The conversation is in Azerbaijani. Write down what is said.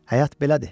Həyat belədir.